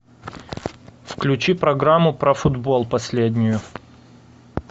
включи программу про футбол последнюю